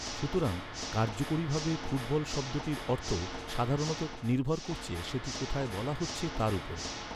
সুতরাং, কার্যকরীভাবে, ‘ফুটবল’ শব্দটির অর্থ সাধারণত নির্ভর করছে সেটি কোথায় বলা হচ্ছে তার উপর।